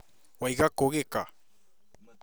Waiga kũ Gĩka?